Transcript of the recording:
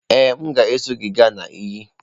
Ee, m ga-eso gị gaa na iyi.